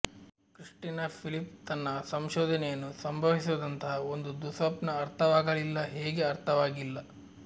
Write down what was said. Christina Philip ತನ್ನ ಸಂಶೋಧನೆಯನ್ನು ಸಂಭವಿಸಿದಂತಹ ಒಂದು ದುಃಸ್ವಪ್ನ ಅರ್ಥವಾಗಲಿಲ್ಲ ಹೇಗೆ ಅರ್ಥವಾಗಿಲ್ಲ